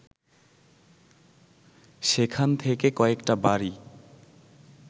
সেখান থেকে কয়েকটা বাড়ি